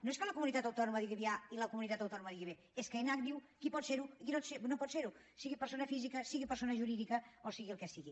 no és que una comunitat autònoma digui a i una comunitat autònoma digui b és que enac diu qui pot ser ho i qui no pot ser ho sigui persona física sigui persona jurídica o sigui el que sigui